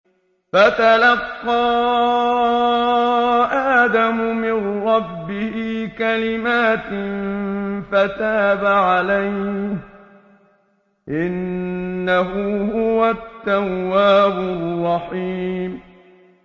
فَتَلَقَّىٰ آدَمُ مِن رَّبِّهِ كَلِمَاتٍ فَتَابَ عَلَيْهِ ۚ إِنَّهُ هُوَ التَّوَّابُ الرَّحِيمُ